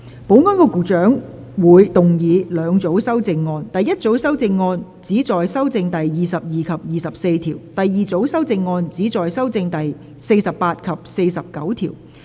保安局局長會動議兩組修正案：第一組修正案旨在修正第22及24條；第二組修正案旨在修正第48及49條。